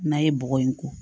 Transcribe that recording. N'a ye bɔgɔ in ko